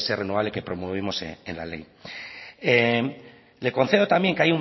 renovable que promovimos en la ley le concedo también